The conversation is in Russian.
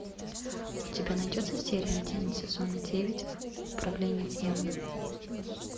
у тебя найдется серия один сезона девять управление гневом